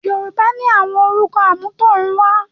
Yorùbá ni àwọn orúkọ àmútọ̀runwá